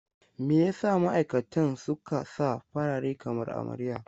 Me ya sa ma'aikatan suka sa farare kamar amarya?